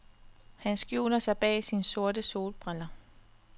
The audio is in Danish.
Han skjuler sig bag sine sorte solbriller.